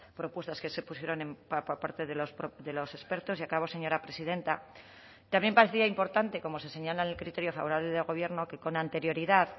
propuestas que se pusieron por parte de los expertos y acabo señora presidenta también parecía importante como se señala en el criterio favorable del gobierno que con anterioridad